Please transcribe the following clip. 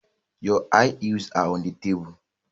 Your high heels are on the table